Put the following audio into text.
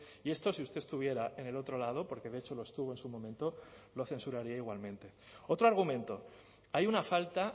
y esto si usted estuviera en el otro lado porque de hecho lo estuvo en su momento lo censuraría igualmente otro argumento hay una falta